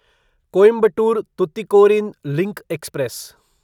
Coimbatore Tuticorin link express